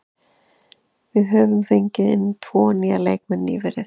Við höfum fengið inn tvo nýja leikmenn nýverið.